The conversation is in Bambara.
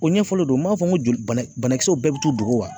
O ɲɛfɔlen don, m'a fɔ ŋo joli bana banakisɛw bɛɛ be t'u dogo wa?